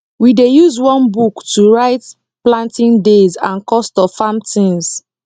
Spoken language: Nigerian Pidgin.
we dey use one book to write planting days and cost of farm things